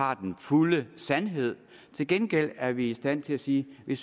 har den fulde sandhed til gengæld er vi i stand til at sige at vi